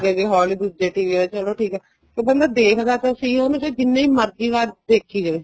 ਅੱਗੇ ਹੋਲੀ ਦੂਜੇ ਚਲੋ ਠੀਕ ਹੈ ਕੇ ਬੰਦਾ ਦੇਖਦਾ ਤਾਂ ਸਹੀ ਹੈ ਉਹਨੂੰ ਚਾਹੇ ਜਿੰਨੀ ਮਰਜ਼ੀ ਵਾਰ ਦੇਖੀ ਜਾਏ